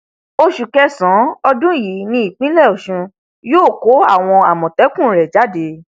oṣù kẹsànán ọdún yìí nípínlẹ ọṣun yóò kó àwọn àmọtẹkùn rẹ jáde